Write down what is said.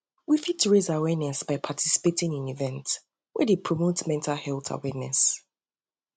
we fit raise awareness by participating in events wey in events wey dey promote mental health awareness